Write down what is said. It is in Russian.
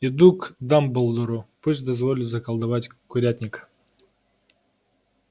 иду к дамблдору пусть дозволит заколдовать курятник